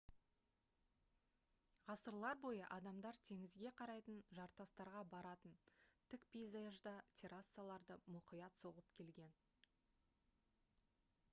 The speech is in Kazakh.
ғасырлар бойы адамдар теңізге қарайтын жартастарға баратын тік пейзажда террасаларды мұқият соғып келген